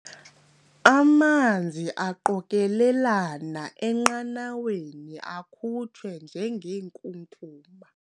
Amanzi aqokelelana enqanaweni akhutshwe njengenkunkuma.